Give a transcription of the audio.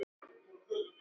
Leikur á hana.